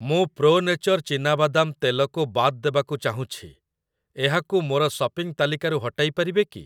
ମୁଁ Pro Nature ଚୀନାବାଦାମ ତେଲ କୁ ବାଦ୍ ଦେବାକୁ ଚାହୁଁଛି, ଏହାକୁ ମୋର ସପିଂ ତାଲିକାରୁ ହଟାଇ ପାରିବେ କି?